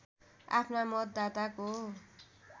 आफ्ना मतदाताको